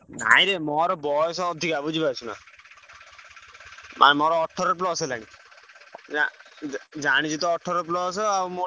ନାଇ ରେ ମୋର ବୟସ ଅଧିକା ବୁଝି ପାରୁଚୁ ନା। ମାନେ ମୋର ଅଠର plus ହେଲାଣି ନା ଜାଣିଚୁ ତ ଅଠର plus ଆଉ ମୁଁ ଟିକେ ଦି ବର୍ଷ ଆମର ରହି ଯାଇଥିଲି ହେଲା ତିନି ବର୍ଷ ଆମର ଟିକେ।